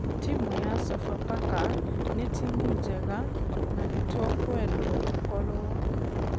Timũ ya sofapaka nĩ timũ njega na nĩtũkwendwo tũkorwo......